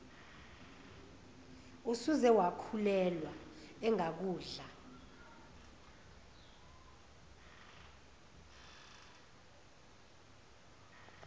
usuze wakhulelwa engakudla